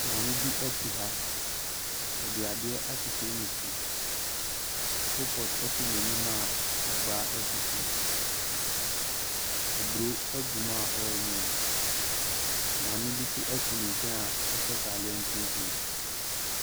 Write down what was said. Maame bi ɛte ha. Ɔde ade akyekyere ne ti. Kolpɔt ɛsi n'anim a agbaa ɛsi so. Aburo ɛgu mu a ɔɔnoa. Maame bi so ɛte ne nkyɛn a ɔhyɛ taaleɛ tuntum.